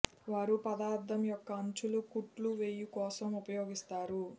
వారు పదార్థం యొక్క అంచులు కుట్లు వేయు కోసం ఉపయోగిస్తారు